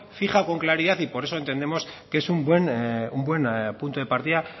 fija con claridad y por eso entendemos que es un buen punto de partida